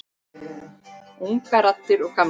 Ungar raddir og gamlar.